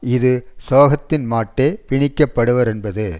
இது சோகத்தின்மாட்டே பிணிக்கப் படுவரென்பது